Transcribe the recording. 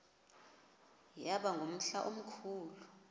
yaba ngumhla omkhulu